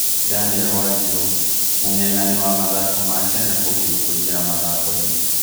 Daniel Wanjiru: Mũng'eng'ani wa mathako ma Kenya kũgirio kũingĩra mathako-inĩ